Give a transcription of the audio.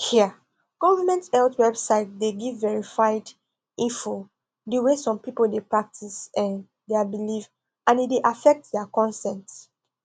um government health website dey give verified info the way some people dey practice um their belief and e dey affect their consent